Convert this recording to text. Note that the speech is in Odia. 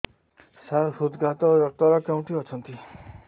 ସାର ହୃଦଘାତ ଡକ୍ଟର କେଉଁଠି ଅଛନ୍ତି